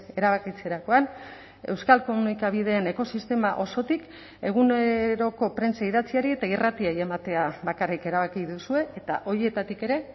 erabakitzerakoan euskal komunikabideen ekosistema osotik eguneroko prentsa idatziari eta irratiei ematea bakarrik erabaki duzue eta horietatik ere